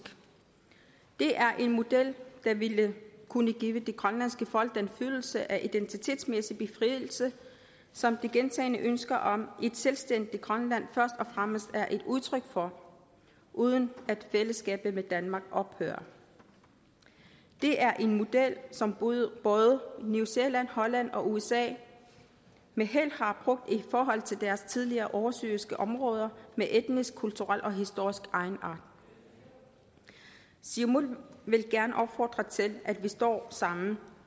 det er en model der ville kunne give det grønlandske folk den følelse af identitetsmæssig befrielse som de gentagne ønsker om et selvstændigt grønland først og fremmest er et udtryk for uden at fællesskabet med danmark ophører det er en model som både new zealand holland og usa med held har brugt i forhold til deres tidligere oversøiske områder med etniske kulturelle og historiske egenarter siumut vil gerne opfordre til at vi står sammen